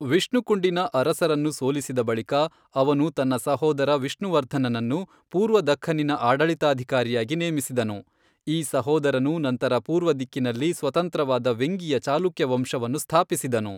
ವಿಷ್ಣುಕುಂಡಿನ ಅರಸನನ್ನು ಸೋಲಿಸಿದ ಬಳಿಕ, ಅವನು ತನ್ನ ಸಹೋದರ ವಿಷ್ಣುವರ್ಧನನನ್ನು ಪೂರ್ವ ದಖ್ಖನ್ನಿನ ಆಡಳಿತಾಧಿಕಾರಿಯಾಗಿ ನೇಮಿಸಿದನು, ಈ ಸಹೋದರನು ನಂತರ ಪೂರ್ವದಿಕ್ಕಿನಲ್ಲಿ ಸ್ವತಂತ್ರವಾದ ವೆಂಗಿಯ ಚಾಲುಕ್ಯ ವಂಶವನ್ನು ಸ್ಥಾಪಿಸಿದನು.